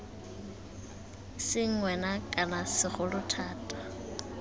seng wena kana segolo thata